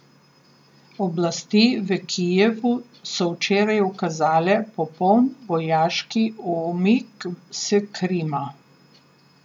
Oblasti v Kijevu so včeraj ukazale popoln vojaški umik s Krima.